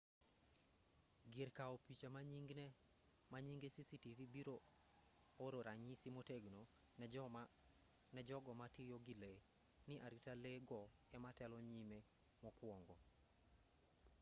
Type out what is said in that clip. gir kaw picha manyinge cctv biro oro ranyisi motegno ne jogo ma tiyo gi lee ni arita lee go ema telo nyime mokwongo